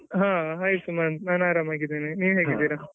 ಹಾ hai ಸುಮಂತ್ ನಾನ್ ಆರಾಮಾಗಿದೀನಿ ನೀವ್ ಹೇಗಿದೀರ?